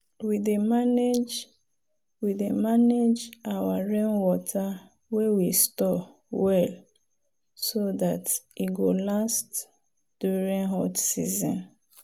we dey manage we dey manage our rainwater wey we store well so dat e go last during hot season.